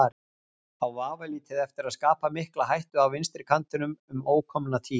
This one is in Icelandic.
Á vafalítið eftir að skapa mikla hættu á vinstri kantinum um ókomna tíð.